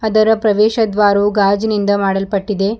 ಅದರ ಪ್ರವೇಶ ದ್ವಾರವು ಗಾಜಿನಿಂದ ಮಾಡಲ್ಪಟ್ಟಿದೆ.